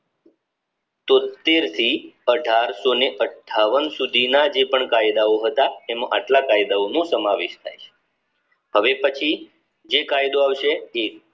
તોત્તેર થી અઢારસો અઠ્ઠાવન સુધીના જે પણ કાયદા ઓ હતા તેમાં એટલા કાયદાઓ નો સમાવેશ થાય છે હવે પછી જે કાયદો આવશે એ